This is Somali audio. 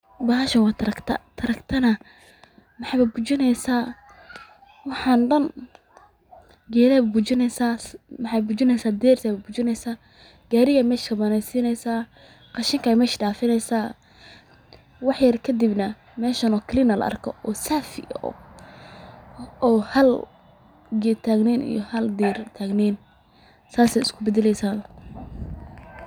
Bahashan waa tracta, waxaay bujineysa waxaan Dan, geedaha ayeey bujineysa, qashinka ayeey meesha kasareysa, deerta ayeey bujineysa, gaariga ayaa meesha kabaneyneysa, wax kadibna meeshan oo nadiif ah ayaa la arkaa.